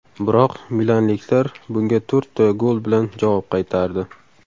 Biroq milanliklar bunga to‘rtta gol bilan javob qaytardi.